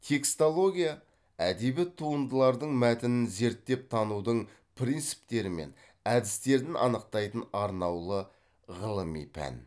текстология әдеби туындылардың мәтінін зерттеп танудың принциптері мен әдістерін анықтайтын арнаулы ғылыми пән